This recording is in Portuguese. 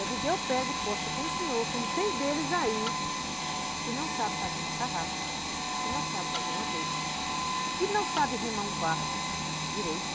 Eu digo, eu pego aposta com o senhor, como tem deles aí que não sabem fazer uma tarrafa, que não sabem fazer uma rede, que não sabem remar um barco direito,